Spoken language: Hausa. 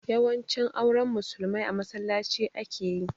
Yawanci auren musulmai a masallaci ake yi